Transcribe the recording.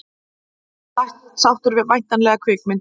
Ósáttur við væntanlega kvikmynd